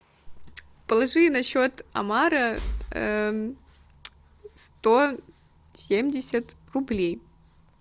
положи на счет омара сто семьдесят рублей